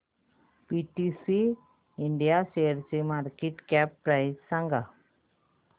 PTC India शेअरची market cap price सांगा